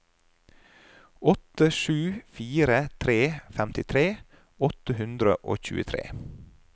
åtte sju fire tre femtitre åtte hundre og tjuetre